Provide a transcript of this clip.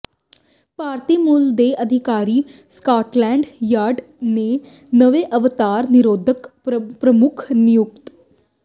ਭਾਰਤੀ ਮੂਲ ਦੇ ਅਧਿਕਾਰੀ ਸਕਾਟਲੈਂਡ ਯਾਰਡ ਦੇ ਨਵੇਂ ਅੱਤਵਾਦ ਨਿਰੋਧਕ ਪ੍ਰਮੁੱਖ ਨਿਯੁਕਤ